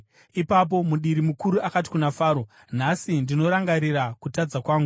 Ipapo mudiri mukuru akati kuna Faro, “Nhasi ndinorangarira kutadza kwangu.